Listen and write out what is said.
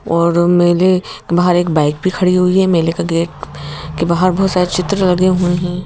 और मेले बाहर एक बाइक भी खड़ी हुई है मेले का गेट के बाहर बहोत सारे चित्र लगे हुए है।